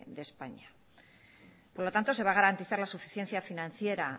de españa por lo tanto se va a garantizar la suficiencia financiera